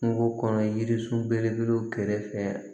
Kungo kɔnɔ yiri sun belebelew kɛrɛfɛ